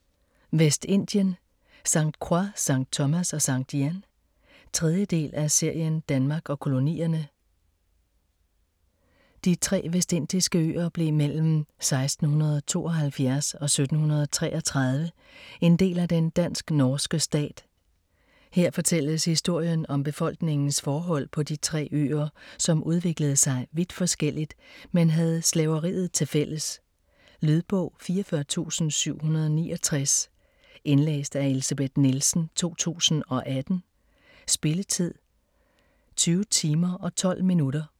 Vestindien: St. Croix, St. Thomas og St. Jan 3. del af serien Danmark og kolonierne. De tre vestindiske øer blev mellem 1672 og 1733 en del af den dansk-norske stat. Her fortælles historien om befolkningens forhold på de tre øer, som udviklede sig vidt forskelligt, men havde slaveriet tilfælles. Lydbog 44769 Indlæst af Elsebeth Nielsen, 2018. Spilletid: 20 timer, 12 minutter.